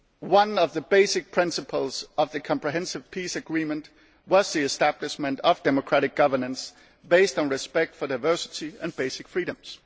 One of the basic principles of the Comprehensive Peace Agreement was the establishment of democratic governance, based on respect for diversity and basic freedoms.